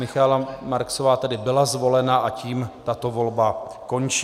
Michaela Marksová tedy byla zvolena, a tím tato volba končí.